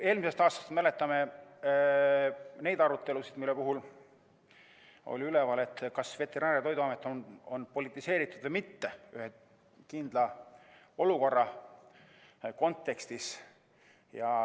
Eelmisest aastast me mäletame neid arutelusid, kui oli üleval küsimus, kas veterinaar‑ ja toiduamet on politiseeritud või mitte, seda ühe kindla olukorra kontekstis.